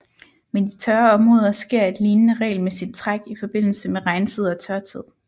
Men i tørre områder sker et lignende regelmæssigt træk i forbindelse med regntid og tørtid